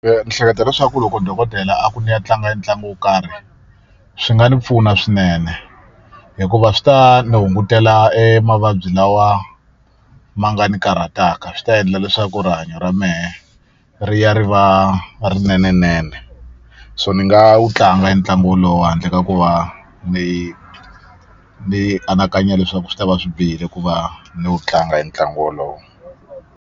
Ndzi hleketa leswaku loko dokodela a ku ni ya tlanga ntlangu wo karhi swi nga ni pfuna swinene hikuva swi ta ni hungutela emavabyi lawa ma nga ni karhataka swi ta endla leswaku rihanyo ra mehe ri ya ri va rinenenene so ni nga wu tlanga hi ntlangu wolowo handle ka ku va ni ni anakanya leswaku swi ta va swi bihile ku va ni wu tlanga hi ntlangu wolowo.